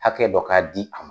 Hakɛ dɔ ka di a